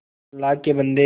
अल्लाह के बन्दे